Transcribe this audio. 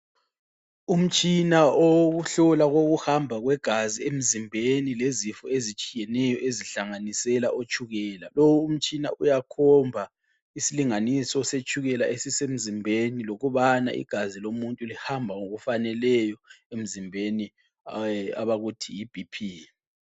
Umtshina owokuhlola kokuhamba kwegazi emzimbeni lezifo ezitshiyeneyo ezihlanganisela otshukela, lowu umtshina uyakhomba isilinganiso setshukela esisemzimbeni lokubana igazi lomuntu lihamba ngokufaneleyo emzimbeni abakuthi yi BP.